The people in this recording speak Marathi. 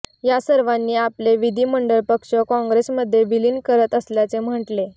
यासर्वांनी आपले विधिमंडळ पक्ष कॉंग्रेसमध्ये विलीन करत असल्याचे महटले